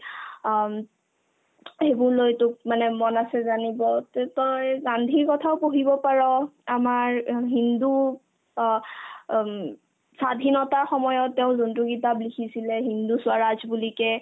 অ উম সেইবোৰ লৈ তোক মানে মন আছে জানিব তে তই গান্ধীৰ কথাও পঢ়িব পাৰ আমাৰ অ হিন্দু অ উম স্বাধীনতাৰ সময়ত তেওঁ যোনতো কিতাপ লিখিছিলে '' হিন্দু স্ৱৰাজ '' বুলিকে